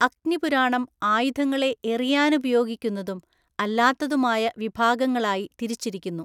അഗ്നി പുരാണം ആയുധങ്ങളെ എറിയാനുപയോഗിക്കുന്നതും അല്ലാത്തതുമായ വിഭാഗങ്ങളായി തിരിച്ചിരിക്കുന്നു.